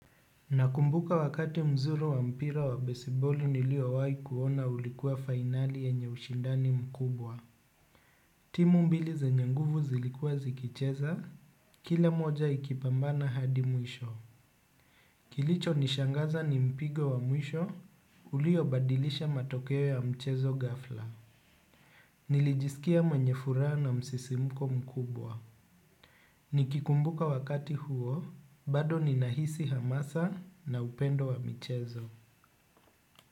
Nakumbuka wakati mzuri wa mpira wa baseball niliowahi kuona ulikuwa finali yenye ushindani mkubwa. Timu mbili zenye nguvu zilikuwa zikicheza, kila moja ikipambana hadi mwisho. Kilichonishangaza ni mpigo wa mwisho, uliobadilisha matokeo ya mchezo ghafla. Nilijisikia mwenye furaha na msisimko mkubwa. Nikikumbuka wakati huo, bado ninahisi hamasa na upendo wa michezo.